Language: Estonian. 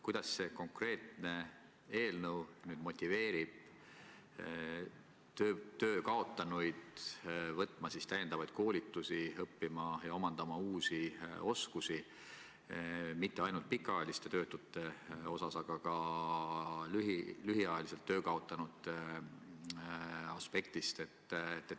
Kuidas see konkreetne eelnõu motiveerib töö kaotanuid võtma täiendavaid koolitusi, õppima ja omandama uusi oskusi – mitte ainult pikaajaliste töötute, vaid ka hiljuti töö kaotanute aspektist?